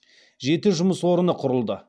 жеті жұмыс орны құрылды